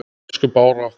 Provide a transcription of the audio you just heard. Elsku Bára okkar.